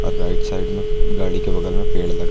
और right side में गाड़ी के बगल में पेड़ लगा--